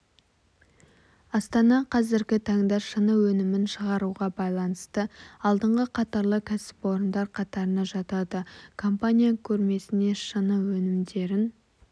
астана қазіргі таңда шыны өнімін шығаруға байланысты алдыңғы қатарлы кәсіпорындар қатарына жатады компания көрмесіне шыны өнімдерін